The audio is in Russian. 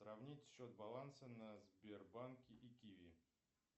сравнить счет баланса на сбербанке и киви